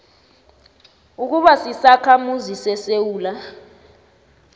ukuba sisakhamuzi sesewula